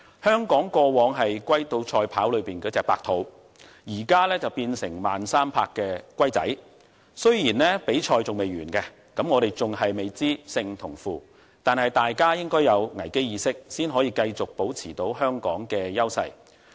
香港過往是"龜兔賽跑"裏的白兔，現在卻變成慢3拍的小龜，雖然比賽未完結，我們未知勝負，但大家應該要有危機意識才能夠繼續保持香港的優勢。